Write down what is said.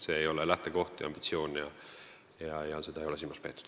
See ei ole lähtekoht ega ambitsioon ja seda ei ole silmas peetud.